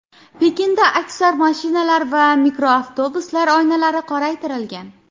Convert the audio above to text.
Pekinda aksar mashinalar va mikroavtobuslar oynalari qoraytirilgan .